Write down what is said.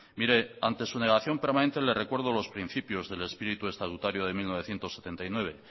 mire ante su negación permanente le recuerdo los principios del espíritu estatutario de mil novecientos setenta y nueve